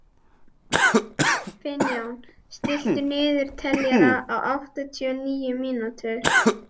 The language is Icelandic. Finnjón, stilltu niðurteljara á áttatíu og níu mínútur.